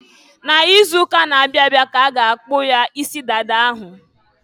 N'izuuka na-abịa ka a ga akpụ ya isi dada ahụ.